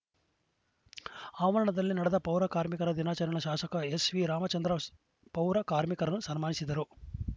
ಆವರಣದಲ್ಲಿ ನಡೆದ ಪೌರಕಾರ್ಮಿಕರ ದಿನಾಚರಣ ಶಾಸಕ ಎಸ್‌ವಿ ರಾಮಚಂದ್ರ ಪೌರ ಕಾರ್ಮಿಕರನ್ನು ಸನ್ಮಾನಿಸಿದರು